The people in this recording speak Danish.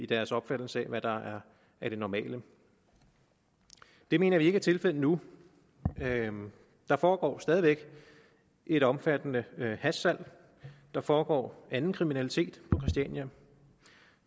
deres opfattelse af hvad der er det normale det mener vi ikke er tilfældet nu der foregår stadig væk et omfattende hashsalg der foregår anden kriminalitet på christiania